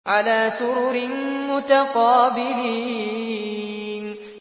عَلَىٰ سُرُرٍ مُّتَقَابِلِينَ